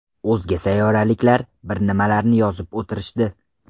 O‘zga sayyoraliklar bir nimalarni yozib o‘tirishdi.